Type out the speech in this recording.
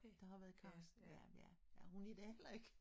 Det har været Cartsen ja ja ja hun er der heller ikke